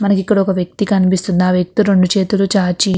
ఇక్కడ మనకి ఒక వ్యక్తి కనిపిస్తున్నాడు. ఆ వ్యక్తి రెండు చేతులు చాచి --